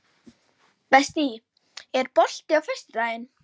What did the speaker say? Betsý, er bolti á föstudaginn?